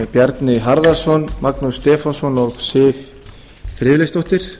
bjarni harðarson magnús stefánsson og siv friðleifsdóttir